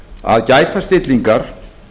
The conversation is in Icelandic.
að gæta stillingar